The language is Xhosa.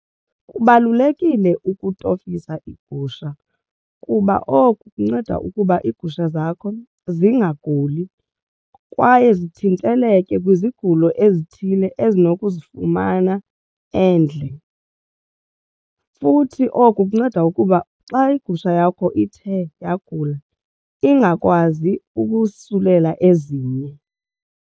Kubalulekile ukutofisa iigusha kuba oku kunceda ukuba iigusha zakho zingaguli kwaye zithinteleke kwizigulo ezithile ezinokuzifumana endle futhi oku kunceda ukuba xa igusha yakho ithe yagula ingakwazi ukusulela ezinye.